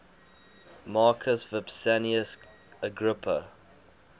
marcus vipsanius agrippa